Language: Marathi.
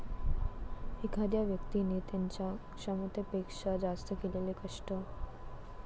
एखाद्या व्यक्तिने त्यांच्या क्षमतेपेक्षा जास्त केलेले कष्ट.